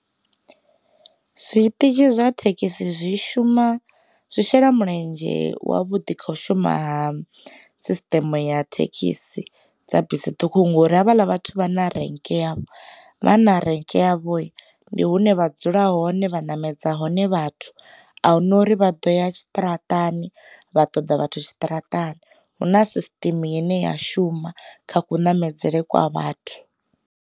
Zwiṱitshi zwa thekhisi zwi shuma, zwi shela mulenzhe wa vhuḓi kha u shuma ha sisiṱeme ya thekhisi dza bisi ṱhukhu ngori havhala vhathu vha na renke yavho, vha na renke yavho ndi hune vha dzula hone vha namedza hone vhathu ahuna uri vha ḓo ya tshiṱaratani vha ṱoḓa vhathu tshiṱaratani huna sisiṱeme ine ya shuma kha ku ṋamedzeḽe kwa vhathu.